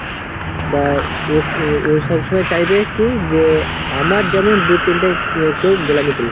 বা ও ও সবসময় চাইবে কি যে আমার যেমন দু তিনটা কেউ গোলামী করুক